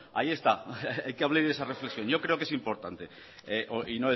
ahí está que hable de esa reflexión yo creo que es importante